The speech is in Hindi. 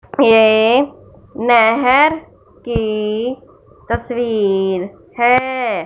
ये नहर की तस्वीर है।